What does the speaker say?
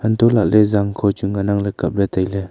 anto lahle jangkho chu ngan ang le kap lah le taile.